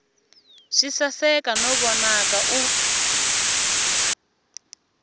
swi saseka no vonaka u